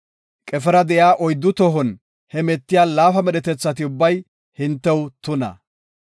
“Qefera de7iya oyddu tohon hemetiya laafa medhetethati ubbay hintew tuna.